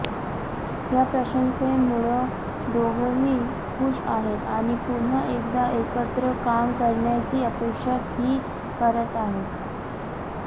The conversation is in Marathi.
या प्रशंसेमुळं दोघंही खुश आहेत आणि पुन्हा एकदा एकत्र काम करण्याची अपेक्षा ही करत आहेत